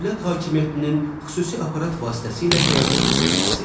Dövlət hakimiyyətinin xüsusi aparat vasitəsilə həyata keçirilməsi.